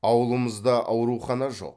ауылымызда аурухана жоқ